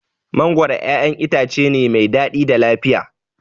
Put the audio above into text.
Mangoro ƴaƴan itace ne mai daɗi da lafiya.